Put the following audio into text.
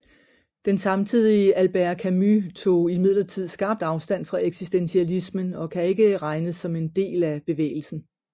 Den samtidige Albert Camus tog imidlertid skarpt afstand fra eksistentialismen og kan ikke regnes som en del af bevægelsen